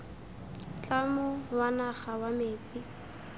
tlamo wa naga wa metsi